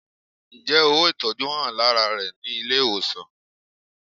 Ǹjẹ́ ówò ìtọjú hàn lárá rẹ ní ilé ìwòsàn?